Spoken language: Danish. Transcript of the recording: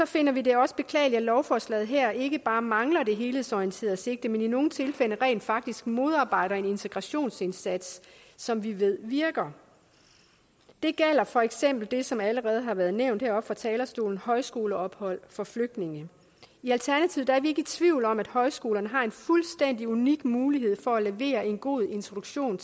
finder vi det også beklageligt at lovforslaget her ikke bare mangler det helhedsorienterede sigte men i nogle tilfælde rent faktisk modarbejder en integrationsindsats som vi ved virker det gælder for eksempel det som allerede har været nævnt heroppe fra talerstolen nemlig højskoleophold for flygtninge i alternativet er vi ikke i tvivl om at højskolerne har en fuldstændig unik mulighed for at levere en god introduktion